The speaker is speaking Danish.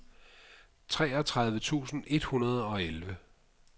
treogtredive tusind et hundrede og elleve